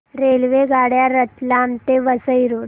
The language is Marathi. रेल्वेगाड्या रतलाम ते वसई रोड